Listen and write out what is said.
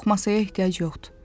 Yox, masaya ehtiyac yoxdur.